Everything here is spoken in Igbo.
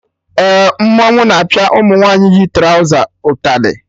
Eh, mmọnwụ na apịa ụmụ nwaanyị yi trọza ịtalị